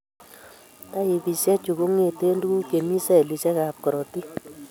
Taipisiechu kong'eten tuguk chemii cellisiek ab korotik